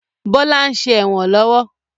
Bọlá ń ṣe ẹ̀wọ̀n lọ́wọ́